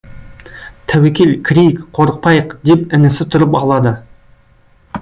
тәуекел кірейік қорықпайық деп інісі тұрып алады